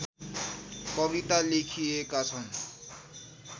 कविता लेखिएका छन्